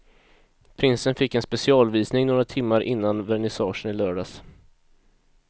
Prinsen fick en specialvisning några timmar innan vernissagen i lördags.